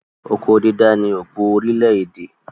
Oko dídá ni òpó orílẹ̀-èdè.